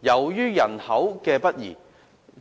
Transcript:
由於人口北移，